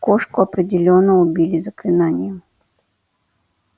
кошку определённо убили заклинанием